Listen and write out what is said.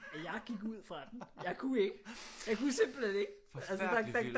Jeg gik ud fra den jeg kunne ikke jeg kunne simpelthen ikke altså der der